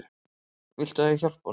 Viltu að ég hjálpi honum?